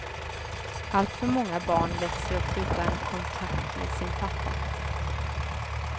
Alltför många barn växer upp utan kontakt med sin pappa.